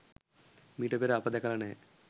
මීට පෙර අප දැකලා නැහැ.